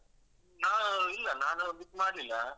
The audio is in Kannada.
ನಾವ್ ಇಲ್ಲ ನಾನು book ಮಾಡ್ಲಿಲ್ಲ.